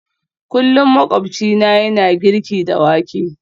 Kullum makwabcina yana girki da wake